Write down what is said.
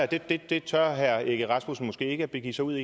det det tør herre søren egge rasmussen måske ikke begive sig ud